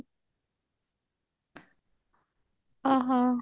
ଓହୋ